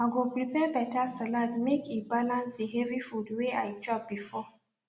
i go prepare better salad make e balance the heavy food wey i chop before